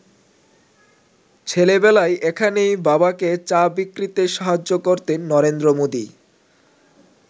ছেলেবেলায় এখানেই বাবাকে চা বিক্রিতে সাহায্য করতেন নরেন্দ্র মোদি।